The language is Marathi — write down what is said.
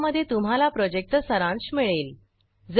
ज्यामध्ये तुम्हाला प्रॉजेक्टचा सारांश मिळेल